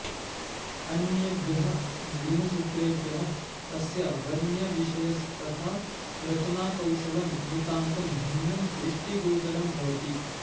अन्येभ्यः गृह्यसूत्रेभ्यः अस्य वर्ण्यविषयस्तथा रचनाकौशलं नितान्तं भिन्नं दृष्टिगोचरं भवति